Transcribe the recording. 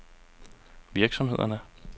virksomhederne